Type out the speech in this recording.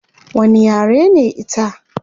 Wani yare ne ita?